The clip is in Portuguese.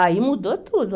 Aí mudou tudo.